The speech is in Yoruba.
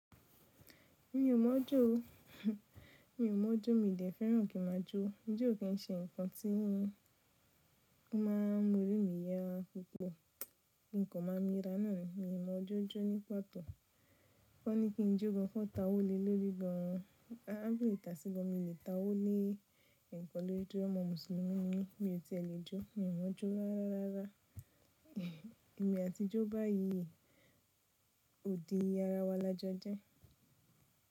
Mi ò mọ̀ jó o. Mi ò mọ̀ jó, mi de fẹ́ràn kí n máa jó. Jijó kì í ṣe nǹkan tí ó máa ń mú orí mi yá pupo mokan máa ń mi ra náà. Mi ò mọ̀ ijó, jó ní pàtó. Wọ́n ní kí n jó gan kan tawo, le lórí gan? A á pele ìtàse gan mi lè ta ówo lé nǹkan lórí ijó. Ọmọ Mùsùlùmí ni mí, bí ó ti ṣe le jó. Mi ò mọ̀ ọ́ jó rárá. Ẹ̀mí àti ijó báyìí ò di ara wa lajọjẹ.